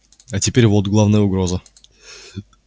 а теперь вот главная угроза